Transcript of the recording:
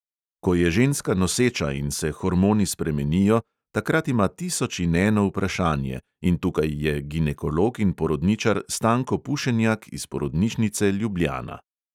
Ko je ženska noseča in se hormoni spremenijo, takrat ima tisoč in eno vprašanje, in tukaj je ginekolog in porodničar stanko pušenjak iz porodnišnice ljubljana.